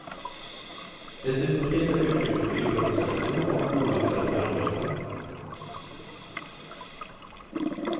Dessutom finns där utrymme för improvisationer och oväntade programlösningar.